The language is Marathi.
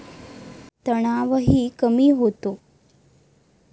तणावही कमी होतो.